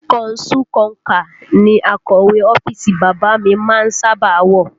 Kọnsú konkà ní akọ̀wé ọ́fíìsì bàbá a mi má ń sábà a wọ